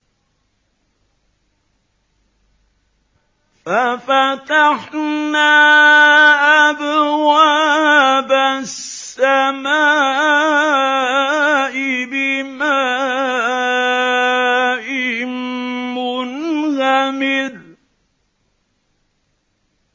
فَفَتَحْنَا أَبْوَابَ السَّمَاءِ بِمَاءٍ مُّنْهَمِرٍ